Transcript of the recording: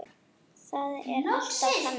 Það er alltaf þannig.